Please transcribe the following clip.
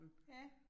Ja